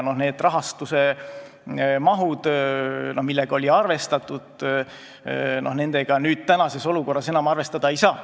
Selle rahastusega, millega oli arvestatud, tänases olukorras enam arvestada ei saa.